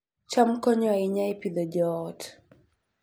cham konyo ahinya e Pidhoo joot